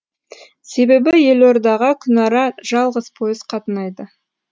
себебі елордаға күнара жалғыз пойыз қатынайды